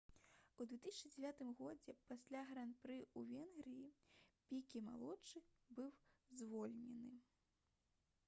у 2009 годзе пасля гран-пры ў венгрыі піке малодшы быў звольнены